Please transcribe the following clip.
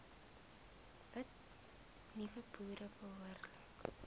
nuwe boere behoorlik